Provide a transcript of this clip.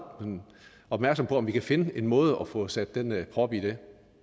opmærksomme på om vi kan finde en måde at få sat den prop i det